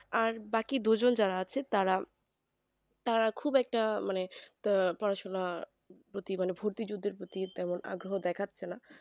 আর বাকি দুজন যারা আছে তারা তারা খুব একটা মানে পড়াশোনা প্রতি মানে ভর্তিযুদ্ধের প্রতি অগগ্রহো দেখাচ্ছে না